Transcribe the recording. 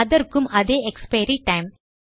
அதற்கும் அதே expiry time